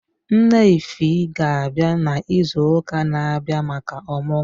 Nne ify ga abịa na ịzụ ụka na abịa maka omugo.